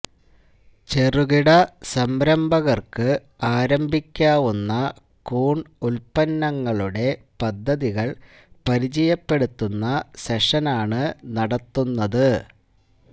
ചെറുകിട സംരഭകര്ക്ക് ആരംഭിക്കാവുന്ന കൂണ് ഉല്പ്പന്നങ്ങളുടെ പദ്ധതികള് പരിചയപ്പെടുത്തുന്ന സെഷനാണ് നടത്തുന്നത്